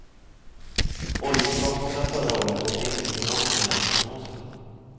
Oljeinkomsterna förra året nådde inte på långt när prognoserna.